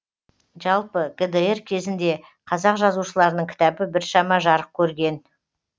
жалпы гдр кезінде қазақ жазушыларының кітабы біршама жарық көрген